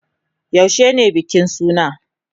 Yaushe ne bikin sunan?